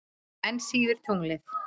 Enn síður tunglið.